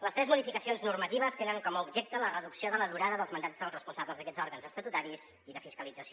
les tres modificacions normatives tenen com a objecte la reducció de la durada dels mandats dels responsables d’aquests òrgans estatutaris i de fiscalització